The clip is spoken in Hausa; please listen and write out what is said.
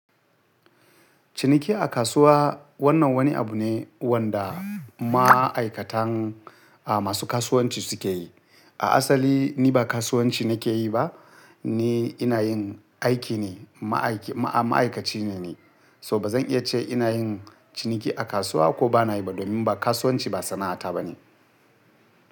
Ciniki a kasuwa wannan wani abu ne wanda ma'aikatan, ah masu kasuwanci suke yi. A asali ni ba kasuwanci nake yi ba, ni ina yin aiki ne, ma'aikaci ne ni. So ba zan iya ce ina yin ciniki a kasuwa ko bana yi ba domin ba kasuwanci ba sana'ata bane.